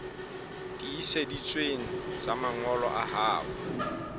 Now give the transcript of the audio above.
tiiseditsweng tsa mangolo a hao